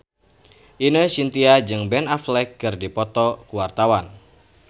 Ine Shintya jeung Ben Affleck keur dipoto ku wartawan